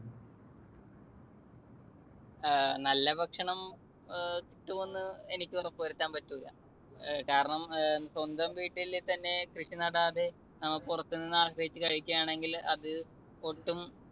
അഹ് നല്ല ഭക്ഷണം ഏർ കിട്ടുമെന്ന് എനിക്ക് ഉറപ്പുവരുത്താൻ പറ്റൂല്ല. ഏർ കാരണം സ്വന്തം വീട്ടിൽത്തന്നെ കൃഷി നടാതെ നമ്മൾ പുറത്തുനിന്നാശ്രയിച്ചു കഴിക്കുകയാണെങ്കിൽ അത് ഒട്ടും